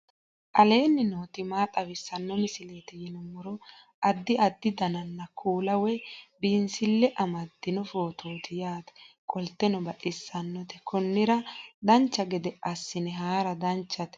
aleenni nooti maa xawisanno misileeti yinummoro addi addi dananna kuula woy biinsille amaddino footooti yaate qoltenno baxissannote konnira dancha gede assine haara danchate